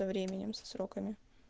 со временем со сроками